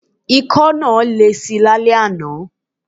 Ikọ́ náà lesi lálẹ́ àná.